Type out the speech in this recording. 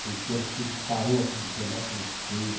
Foi um enterro que parou a avenida higienópolis inteira.